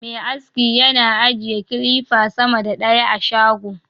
Me aski yana ajiye kilifa sama da ɗaya a shago